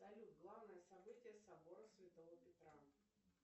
салют главное событие собора святого петра